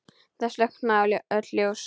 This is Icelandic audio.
Það slokkna öll ljós.